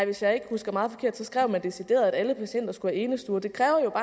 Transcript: hvis jeg ikke husker meget forkert skrev man decideret at alle patienter skal have enestue det kræver